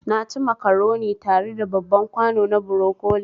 Naci macaroni tare da babban kwano na broccoli